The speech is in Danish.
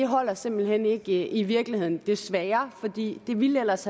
holder simpelt hen ikke i virkeligheden desværre for det ville ellers